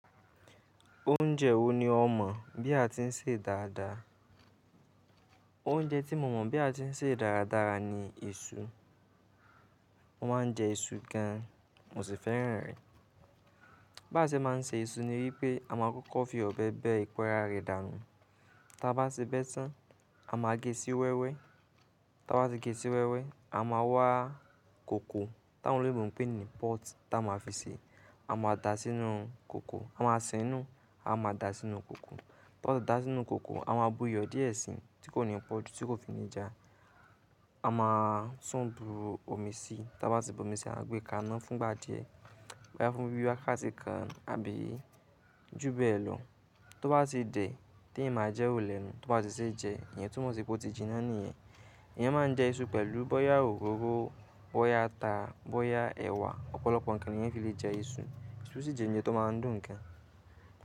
Oúnjẹ wo ni ọ mọ̀ bí a ti ń sè dáadáa? Oúnjẹ tí mo mọ̀ bí a ti ń sè dáradára ni iṣu. Mo máa ń jẹ iṣu gan, mo sì fẹ́ràn rẹ̀. Bá ṣe máa ń sè ìṣù ni wípé a máa kọ́kọ́ fi ọ̀bẹ bẹ́ẹ̀ epo ara rẹ̀ dànù. Tá bá ti bẹ́ tán, a máa gé e sí wẹ́wẹ́. Tá bá ti gé sí wẹ́wẹ́, a máa wá kòkó táwọn òyìnbó ń pè ní pọ́ọ̀tì tá a máa fi sè. A máa da sínú kòkó, a máa sìnú, a máa da sínú kòkó. Tá a bá ti da sínú kòkó, a máa bu iyọ̀ díẹ̀ sí i tí kò ní pọ́ọ̀jù tí kò fi ni jà. A máa tú ń bu omi sí i, tá bá ti bu omi sí i, a máa gbé ká iná fún ìgbà díẹ̀. Bóyá fún bí i wákàtí kan àbí jù bẹ́ẹ̀ lọ. Tó bá ti dẹ̀, tí èèyàn máa jẹ wo lènu. Tó bá ti ṣe jẹ, ìyẹn túmọ̀ sí pé ó ti jinná nìyẹn. Èèyàn máa ń jẹ ìṣù pẹ̀lú bóyá òróró, bóyá ata, bóyá ẹ̀wà. Ọ̀pọ̀lọpọ̀ ǹkan ni ìyẹn fi lè jẹ ìṣù. Ìṣù sì jẹ ǹjẹ́ tó máa ń dùn gan.